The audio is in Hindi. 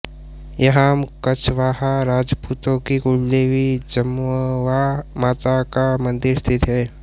यहाम कछवाहा राजपूतों की कुलदेवी जमवा माता का मन्दिर स्थित है